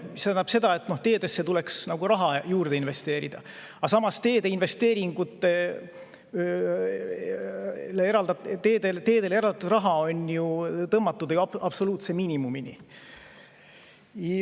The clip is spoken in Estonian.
See tähendab seda, et teedesse tuleks raha juurde investeerida, aga samas teedele eraldatav raha on tõmmatud ju absoluutse miinimumini.